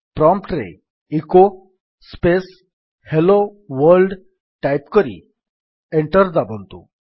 prompt ରେ echo space hello world type କରି enter ଦାବନ୍ତୁ